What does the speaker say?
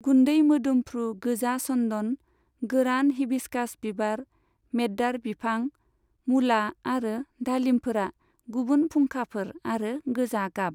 गुन्दै मोदोमफ्रु गोजा चन्दन, गोरान हिबिस्कास बिबार, मेद्दार बिफां, मुला, आरो दालिमफोरा गुबुन फुंखाफोर आरो गोजा गाब।